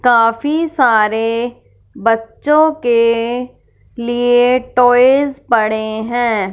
काफी सारे बच्चों के लिए टॉयज पड़े हैं।